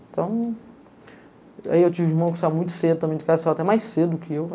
Então... Aí eu tive um irmão que saiu muito cedo também de casa, saiu até mais cedo que eu.